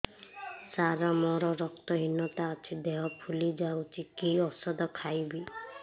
ସାର ମୋର ରକ୍ତ ହିନତା ଅଛି ଦେହ ଫୁଲି ଯାଉଛି କି ଓଷଦ ଖାଇବି